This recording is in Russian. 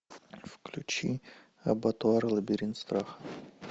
включи абатуар лабиринт страха